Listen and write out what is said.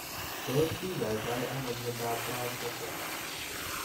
Tos kinyaitoi ano miondop Brown Sequard